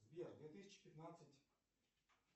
сбер две тысячи пятнадцать